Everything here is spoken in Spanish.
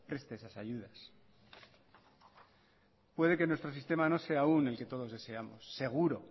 preste esas ayudas puede que nuestro sistema no sea aún el que todos deseamos seguro